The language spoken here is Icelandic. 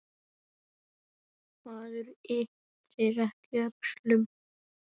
Maður ypptir ekki öxlum.